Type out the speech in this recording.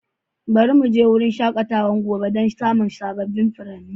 Bari mu je wurin shakatawa gobe don samun sabbin furanni.